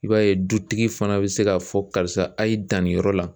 I b'a ye dutigi fana be se k'a fɔ karisa a' ye dan nin yɔrɔ la